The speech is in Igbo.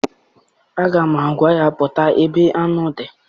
Aga m agwa ya, pụta ebe aṅụ dị!